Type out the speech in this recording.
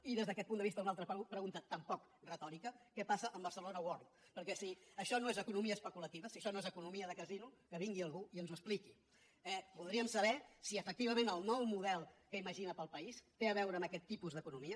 i des d’aquest punt de vista una altra pregunta tampoc retòrica què passa amb barcelona world perquè si això no és economia especulativa si això no és economia de casino que vingui algú i que ens ho expliqui eh voldríem saber si efectivament el nou model que imagina per al país té a veure amb aquest tipus d’economia